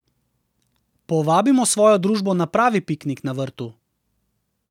Povabimo svojo družbo na pravi piknik na vrtu.